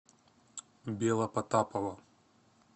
белопотапова